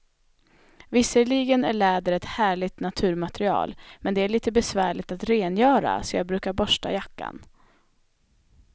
Visserligen är läder ett härligt naturmaterial, men det är lite besvärligt att rengöra, så jag brukar borsta jackan.